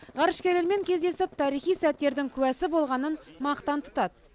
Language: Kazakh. ғарышкерлермен кездесіп тарихи сәттердің куәсі болғанын мақтан тұтады